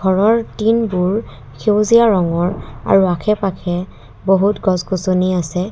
ঘৰৰ টিংবোৰ সেউজীয়া ৰঙৰ আৰু আশে পাশে বহুত গছ গছনি আছে।